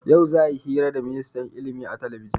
Yau za'a yi hira da ministan ilimi a talabijin.